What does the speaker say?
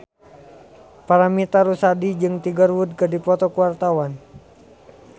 Paramitha Rusady jeung Tiger Wood keur dipoto ku wartawan